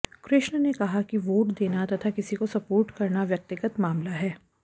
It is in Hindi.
कृष्ण ने कहा की वोट देना तथा किसी को सपोर्ट करना व्यक्तिगत मामला है